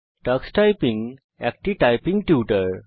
tax typing একটি typing tutor